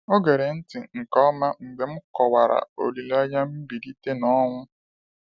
Ọ gere ntị nke ọma mgbe m kọwara olileanya mgbilite n’ọnwụ.